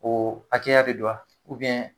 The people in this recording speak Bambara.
O hakɛya de do wa